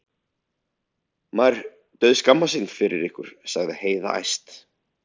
Maður dauðskammast sín fyrir ykkur, sagði Heiða æst.